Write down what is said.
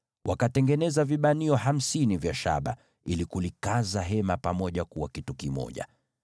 Wakatengeneza vifungo hamsini vya shaba ili kukaza hema pamoja kuwa kitu kimoja.